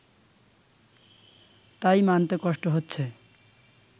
তাই মানতে কষ্ট হচ্ছে